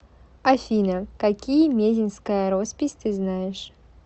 афина какие мезеньская роспись ты знаешь